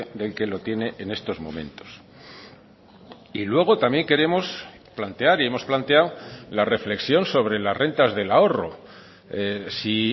del que lo tiene en estos momentos y luego también queremos plantear y hemos planteado la reflexión sobre las rentas del ahorro si